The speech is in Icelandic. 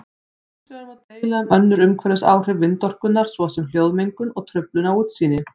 Hins vegar má deila um önnur umhverfisáhrif vindorkunnar svo sem hljóðmengun og truflun á útsýni.